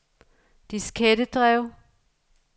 diskettedrev